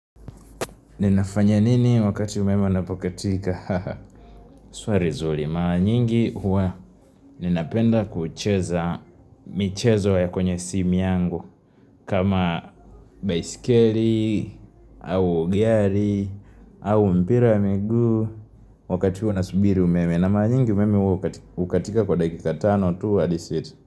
Ninafanya nini wakati umeme unapokatika? Swali zuri. Mara nyingi huwa. Ninapenda kucheza michezo kwenye simu yangu. Kama baiskeli, au gari, au mpira wa miguu. Wakati huwa nasubiri umeme. Na mara nyingi umeme huwa hukatika kwa dakika tano tu.